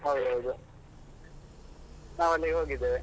ಹೌದ್ ಹೌದು. ನಾವ್ ಅಲ್ಲಿಗೆ ಹೋಗಿದ್ದೇವೆ.